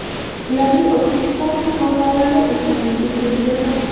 Ularning O‘zbekiston fuqarolari ekanligi bildirilmoqda .